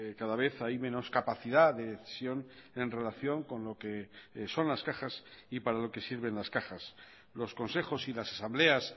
cada vez hay menos capacidad de decisión en relación con lo que son las cajas y para lo que sirven las cajas los consejos y las asambleas